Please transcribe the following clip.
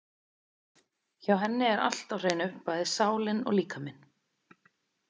Hjá henni er allt á hreinu, bæði sálin og líkaminn.